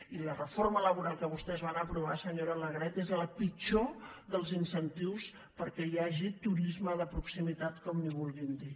i la reforma laboral que vostès van aprovar senyora alegret és el pitjorhagi turisme de proximitat com en vulguin dir